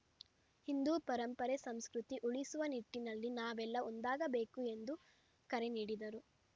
ಹಿಂದೂ ಪರಂಪರೆ ಸಂಸ್ಕೃತಿ ಉಳಿಸುವ ನಿಟ್ಟಿನಲ್ಲಿ ನಾವೆಲ್ಲಾ ಒಂದಾಗಬೇಕು ಎಂದು ಕರೆ ನೀಡಿದರು